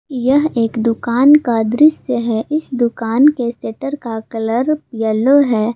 यह एक दुकान का दृश्य है इस दुकान के शटर का कलर येलो है।